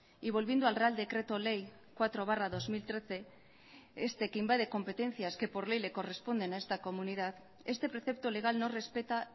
y volviendo al real decreto ley cuatro barra dos mil trece este que invade competencias que por ley le corresponden a esta comunidad este precepto legal no respeta